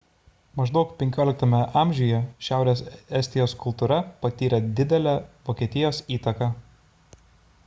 maždaug xv amžiuje šiaurės estijos kultūra patyrė didelę vokietijos įtaką